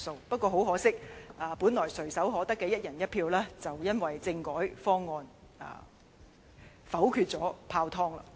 不過，很可惜，本來垂手可得的"一人一票"選舉，卻因政改方案被否決而泡湯。